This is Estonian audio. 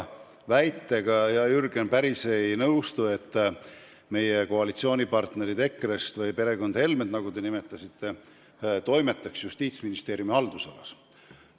Hea Jürgen, ma päris ei nõustu väitega, et meie koalitsioonipartnerid EKRE-st või perekond Helme, nagu te nimetasite, toimetab Justiitsministeeriumi haldusalas.